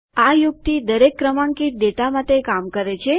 આ યુક્તિ દરેક ક્રમાંકિત ડેટા માટે કામ કરે છે